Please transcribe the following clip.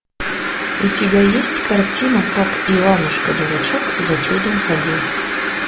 у тебя есть картина как иванушка дурачок за чудом ходил